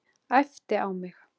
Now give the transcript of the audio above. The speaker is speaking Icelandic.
Æpti á mig.